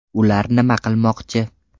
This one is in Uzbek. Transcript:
Ular nima qilmoqchi?